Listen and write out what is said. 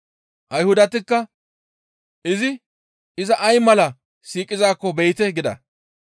Ayhudatikka, «Izi iza ay mala siiqizaakko be7ite» gida.